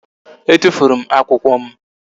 E tụfuru m akwụkwọ m